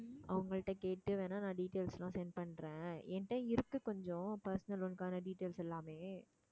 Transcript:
அவங்கள்ட்ட கேட்டு வேணா நான் details எல்லாம் send பண்றேன் என்கிட்ட இருக்கு கொஞ்சம் personal loan க்கான details எல்லாமே